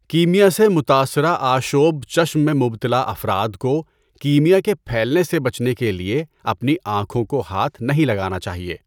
کیمیا سے متاثرہ آشوب چشم میں مبتلا افراد کو کیمیا کے پھیلنے سے بچنے کے لیے اپنی آنکھوں کو ہاتھ نہیں لگانا چاہیے۔